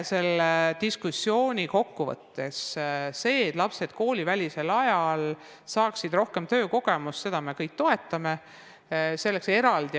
Seda diskussiooni kokku võttes ütlen, et me kõik toetame seda, et lapsed koolivälisel ajal saaksid rohkem töökogemust.